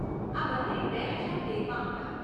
આ બંને બે હજાર તેરમાં હતાં.